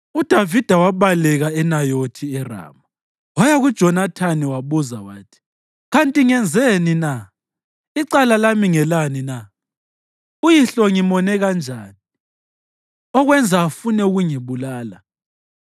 UDavida wabaleka eNayothi eRama waya kuJonathani wabuza wathi, “Kanti ngenzeni na? Icala lami ngelani na? Uyihlo ngimone kanjani, okwenza afune ukungibulala?”